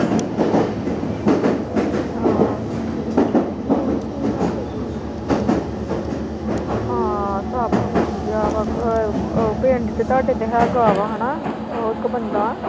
ਹਾਂ ਸਭ ਵਧੀਆ। ਪਿੰਡ ਚ ਤੁਹਾਡੇ ਹੈਗਾ ਵਾ। ਉਹ ਇੱਕ ਬੰਦਾ।